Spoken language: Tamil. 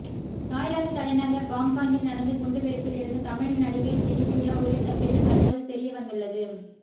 தாய்லாந்து தலைநகர் பாங்காக்கில் நடந்து குண்டு வெடிப்பில் இருந்து தமிழ் நடிகை ஜெனிலியா உயிர் தப்பியது தற்போது தெரியவந்துள்ளது